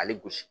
Hali gosi